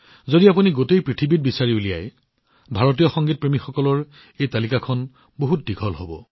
যদি আপোনালোকে সমগ্ৰ বিশ্বলৈ চাই তেন্তে ভাৰতীয় সংগীতপ্ৰেমীসকলৰ এই তালিকাখন বহুত দীঘলীয়া হৈ পৰিব